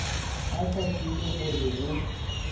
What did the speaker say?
a sa tsebe gore go